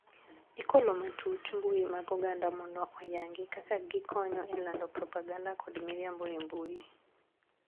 Ikolo matut mbui mag oganda mondo oyangi kaka gikonyo e lando propaganda kod miriambo e mbui.